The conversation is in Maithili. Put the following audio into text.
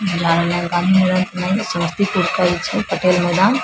बुझा रहले इ गांधी समस्तीपुर कइल छै पटेल मैदान --